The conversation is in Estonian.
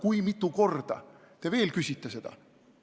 Kui mitu korda te veel seda küsite?